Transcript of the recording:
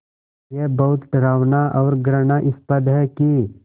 ये बहुत डरावना और घृणास्पद है कि